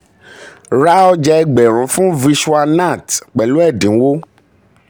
ra ọja ẹgbẹ̀rún fún vishwa nath pẹ̀lú ẹ̀dínwó.